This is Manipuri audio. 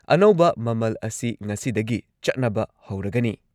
ꯑꯅꯧꯕ ꯃꯃꯜ ꯑꯁꯤ ꯉꯁꯤꯗꯒꯤ ꯆꯠꯅꯕ ꯍꯧꯔꯒꯅꯤ ꯫